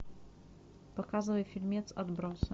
показывай фильмец отбросы